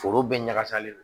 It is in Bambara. Foro bɛɛ ɲagakasalen don